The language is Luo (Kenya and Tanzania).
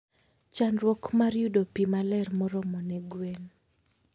Chandruok mar yudo pi maler moromo ne gwen.